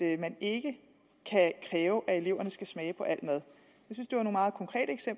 at man ikke kan kræve at eleverne skal smage på al mad